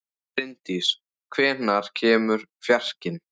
Bryndís, hvenær kemur fjarkinn?